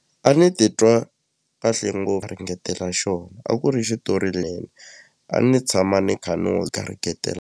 A ni titwa kahle ngopfu ringetela xona a ku ri xitori a ni tshama ni kha ni n'wu garingetela.